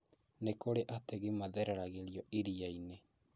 Nĩ kũri ategi mathereragio irianĩ